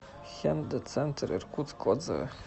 хендэ центр иркутск отзывы